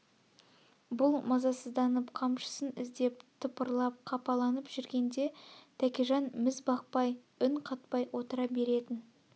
бұл мазасызданып қамшысын іздеп тыпырлап қапаланып жүргенде тәкежан мізбақпай үн қатпай отыра беретін